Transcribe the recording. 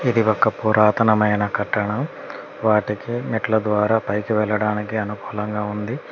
ఇది ఒక పురాతనమైన కట్టడం వాటికి మెట్ల ద్వారా పైకి వెళ్ళడానికి అనుకూలంగా ఉంది.